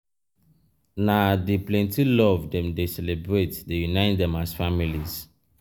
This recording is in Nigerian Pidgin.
na dey plenty love dem dey celebrate dey unite dem as families.